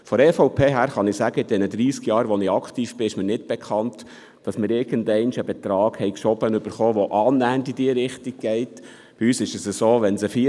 Von der EVP kann ich sagen, dass mir seit den dreissig Jahren, während derer ich aktiv bin, nicht bekannt ist, dass wir irgendwann einmal einen Betrag zugeschoben erhalten haben, der annähernd in diese Richtung gegangen wäre.